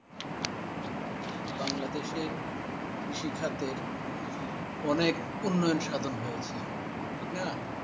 বাংলাদেশের কৃষি খাতের অনেক উন্নয়সাদন হয়েছে ঠিক না?